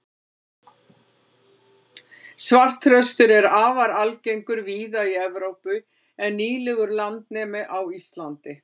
svartþröstur er afar algengur víða í evrópu en nýlegur landnemi á íslandi